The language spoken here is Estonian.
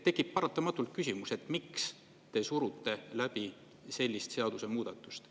Tekib paratamatult küsimus, et miks te surute läbi sellist seadusemuudatust.